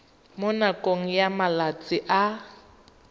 mo nakong ya malatsi a